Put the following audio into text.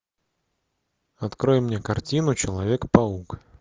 открой мне картину человек паук